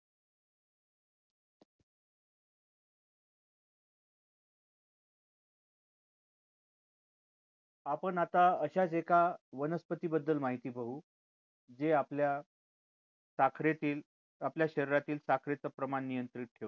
आपण आता अशाच एका वनस्पती बद्दल माहिती बघू जे आपल्या साखरेतील आपल्या शरीरातील साखरेचं प्रमाण नियंत्रित ठेवते.